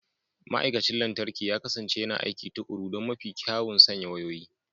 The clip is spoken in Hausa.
Ma'aikacin lantarki ya kasance yana aiki tuƙuru don mafi kyawun sanya wayoyi.